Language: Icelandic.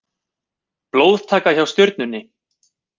Blóðtaka hjá Stjörnunni